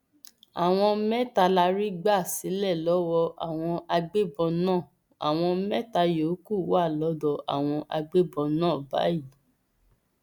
àwọn mẹta la rí gbà sílẹ lọwọ àwọn agbébọn náà àwọn mẹta yòókù wà lọdọ àwọn agbébọn náà báyìí